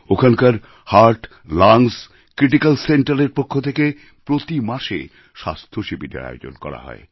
ওখানকার heart lungs critical Centreএর পক্ষ থেকে প্রতি মাসে স্বাস্থ্য শিবিরের আয়োজন করা হয়